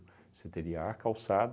Você teria a calçada